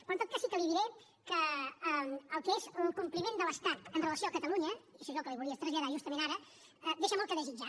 però en tot cas sí que li diré que el que és el compliment de l’estat amb relació a catalunya i això és el que li volia traslladar justament ara deixa molt a desitjar